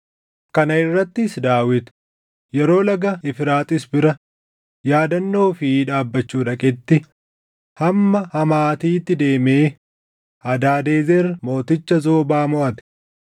Kana irrattis Daawit yeroo Laga Efraaxiis bira yaadannoo ofii dhaabbachuu dhaqetti, hamma Hamaatiitti deemee Hadaadezer mooticha Zoobaa moʼate.